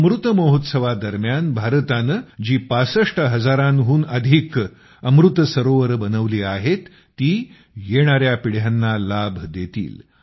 अमृत महोत्सव दरम्यान भारताने जी ६५ हजाराहून अधिक अमृत सरोवरं बनवली आहेत ती येणाऱ्या पिढ्यांना लाभ देतील